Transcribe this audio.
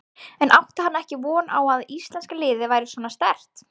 En átti hann ekki von á að íslenska liðið væri svona sterkt?